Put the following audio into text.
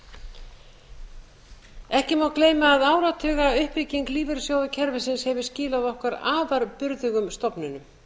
meira ekki má gleyma að áratugauppbygging lífeyrissjóðakerfisins hefur skilað okkur afar burðugum stofnunum